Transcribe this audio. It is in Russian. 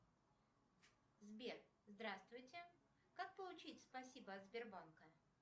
сбер здравствуйте как получить спасибо от сбербанка